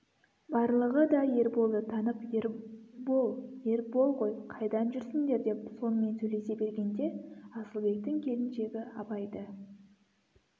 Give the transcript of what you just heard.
барлығы да ерболды танып ербол ербол ғой қайдан жүрсіңдер деп сонымен сөйлесе бергенде асылбектің келіншегі абайды